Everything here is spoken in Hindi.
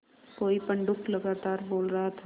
कोई पंडूक लगातार बोल रहा था